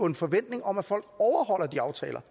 en forventning om at folk overholder de aftaler